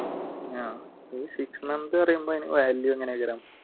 ആഹ് six month പറയുമ്പോ value